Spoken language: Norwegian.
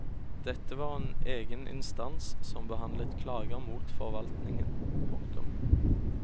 Dette var en egen instans som behandlet klager mot forvaltningen. punktum